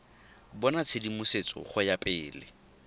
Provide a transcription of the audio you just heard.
bona tshedimosetso go ya pele